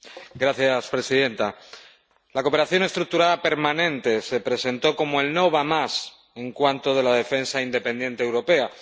Señora presidenta, la cooperación estructurada permanente se presentó como el no va más en cuanto a la defensa independiente europea.